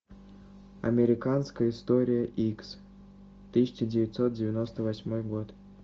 американская история икс тысяча девятьсот девяносто восьмой год